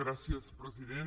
gràcies president